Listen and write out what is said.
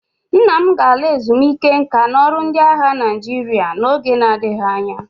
Nna m ga-ala ezumike nka n'ọrụ ndị agha Naịjirịa n'oge na-adịghị anya